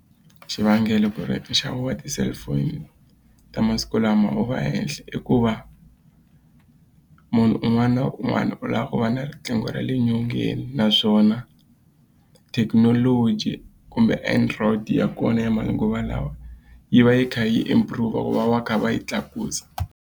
Xivangelo ku ri nxavo wa ti-cellphone ta masiku lama wu va henhla i ku va munhu un'wana na un'wana u lava ku va na riqingho ra le nyongeni naswona thekinoloji kumbe Android ya kona ya manguva lawa yi va yi kha yi improve ku va va kha va yi tlakusa.